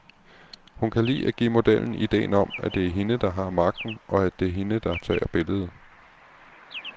Hun kan lide at give modellen idéen om, at det er hende, der har magten, at det er hende, der tager billedet.